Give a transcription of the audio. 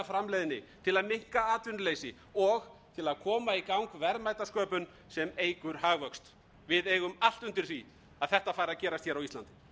framleiðni til að minnka atvinnuleysi og til að koma í gang verðmætasköpun sem eykur hagvöxt við eigum allt undir því að þetta fari að gerast hér á íslandi